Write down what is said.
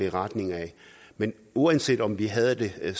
i retning ad men uanset om vi havde